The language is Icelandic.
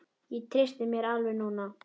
Ég treysti mér alveg núna!